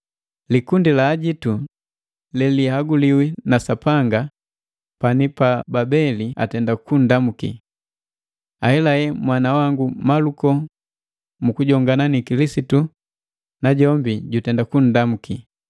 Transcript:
Likundi la ajitu lelihaguliwi na Sapanga pani pa Babeli atenda kundamuki. Ahelahela mwana wangu Maluko mu kujongana na Kilisitu najombi jutenda kundamuki.